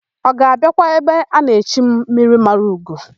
Ọ ga-abịakwa ebe a na-echi m, Mmirimaraugo?